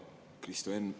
Hea Kristo Enn!